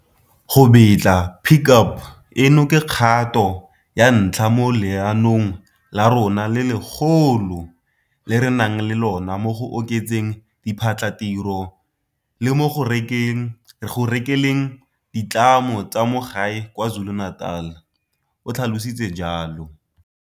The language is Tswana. Go betla Pick Up eno ke kgato ya ntlha mo leanong la rona le legolo le re nang le lona mo go oketseng diphatlhatiro le mo go rekeleng ditlamo tsa mo gae kwa KwaZulu-Natal, o tlhalositse jalo.